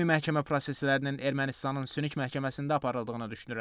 Ümumi məhkəmə proseslərinin Ermənistanın Sünik məhkəməsində aparıldığını düşünürəm.